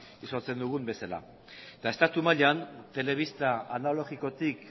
ezagutzen dugun bezala eta estatu mailan telebista analogikotik